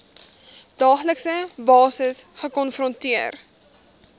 daaglikse basis gekonfronteer